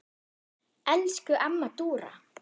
Elsku amma Dúra.